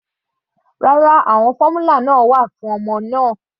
Rárá, àwọn fórmula fún ọmọ nìyẹn.